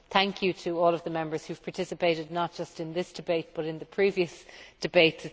Thank you to all of the Members who have participated not just in this debate but in the previous debate.